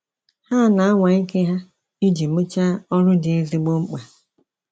Ha ana anwa ike ha iji mwchaa ọrụ dị ezigbo mkpa